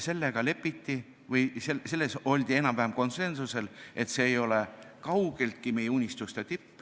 Lepiti sellega või oldi enam-vähem konsensusel selles, et see ei ole kaugeltki meie unistuste tipp.